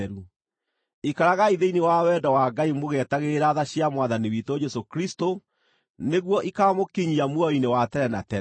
Ikaragai thĩinĩ wa wendo wa Ngai mũgĩetagĩrĩra tha cia Mwathani witũ Jesũ Kristũ nĩguo ikaamũkinyia muoyo-inĩ wa tene na tene.